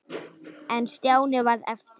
En Stjáni varð eftir.